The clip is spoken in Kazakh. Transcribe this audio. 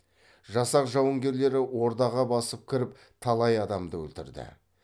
жасақ жауынгерлері ордаға басып кіріп талай адамды өлтірді